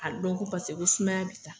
A dɔn ko paseke ko sumaya b'i la